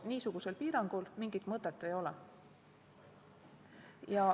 Niisugusel piirangul mingit mõtet ei ole.